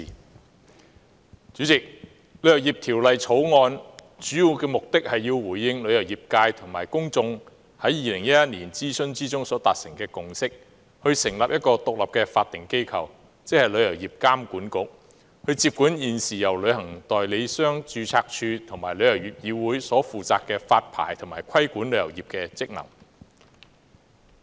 代理主席，《旅遊業條例草案》的主要目的是要回應旅遊業界及公眾在2011年諮詢中所達成的共識，成立一個獨立的法定機構，即旅遊業監管局，接管現時由旅行代理商註冊處及旅議會所負責的發牌和規管旅遊業的職能。